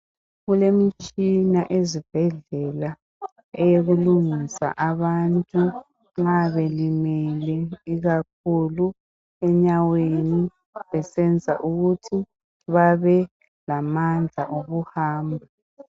Kulemitshina ezibhedlela eyokulungisa abantu nxa belimele ikakhulu enyaweni besenzela ukuthi babelamandla okuhamba.